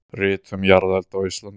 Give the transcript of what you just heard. Rit um jarðelda á Íslandi.